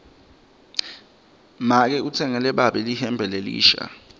make utsengele babe lihembe lelisha